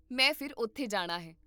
ਮੈਂ ਫਿਰ ਉੱਥੇ ਜਾਣਾ ਹੈ